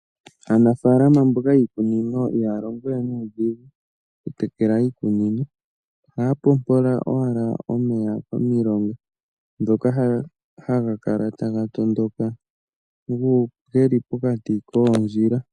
Aanafalama mboka yiikunino ihaya longo we nuudhigu okutekela iikunino, ohaya pompola owala omeya komilonga dhoka hadhi haga kala taga tondoka geli pokati koondjila.